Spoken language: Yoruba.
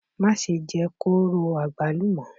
Má ṣe jẹ kóró àgbálùmọ́!